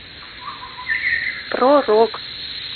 про рок